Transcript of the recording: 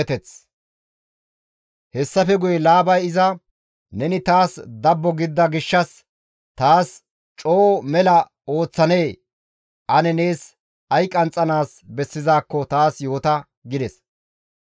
Hessafe guye Laabay iza, «Neni taas dabbo gidida gishshas taas coo mela ooththanee? Ane nees ay qanxxanaas bessizaakko taas yoota» gides.